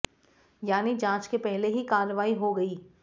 यानी जांच के पहले ही कार्रवाई हो गई